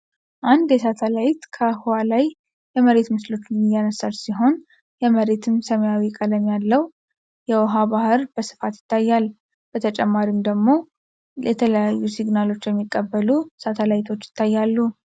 አንድ የሳተላይት ከህዋ ላይ የመሬት ምስሎችን እያነሳች ሲሆን የመሬትም ሰማያዊ ቀለም ያለው የውሃ ባህር በስፋት ይታያል። በተጨማሪም ደግሞ የተለያዩ ሲግናሎችን የሚቀበሉ ሳታላይቶች ይታያሉ።